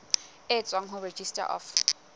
e tswang ho registrar of